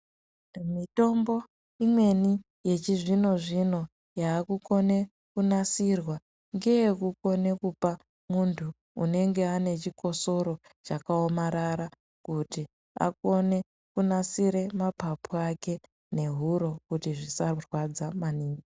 Mitombo imweni yechizvino zvino yavakukona kunasirwa ngeye kukone kupa anenge ane chikosora chaka omarara kuti akone kunasira mapapu ake nehuro kuti zvisa kurwadza maningi.